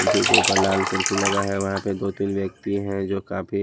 कुल्फी के ऊपर लाल कुल्फी लगा है वहां पे दो तीन व्यक्ति हैं जो काफी--